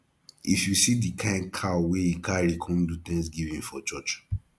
if you see the kin cow wey he carry come do thanksgiving for church